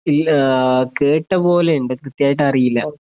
ഇല്ലാ കേട്ടപോലെയിണ്ട് കൃത്യായിട്ട് അറിയില്ലാ